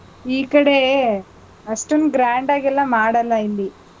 ಈ ಕಡೆ, ಅಷ್ಟೊಂದ್ grand ಆಗೆಲ್ಲಾ ಮಾಡಲ್ಲ ಇಲ್ಲಿ.